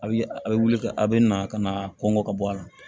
A bɛ a bɛ wuli ka a bɛ na ka na kɔnkɔ ka bɔ a la